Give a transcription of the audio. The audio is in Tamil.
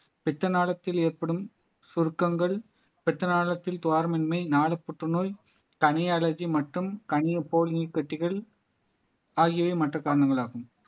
பித்த நாளத்தில் ஏற்படும் சுருக்கங்கள் பித்த நாளத்தில் துவாரமின்மை நாளு புற்றுநோய் கணை அழகி மற்றும் கனிய போலி நீர்க்கட்டிகள் ஆகியவை மற்ற காரணங்களாகும்